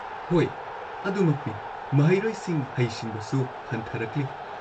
ꯍꯣꯏ, ꯑꯗꯨꯃꯛꯅꯤ, ꯃꯍꯩꯔꯣꯏꯁꯤꯡ ꯍꯩꯁꯤꯡꯕꯁꯨ ꯍꯟꯊꯔꯛꯂꯤ꯫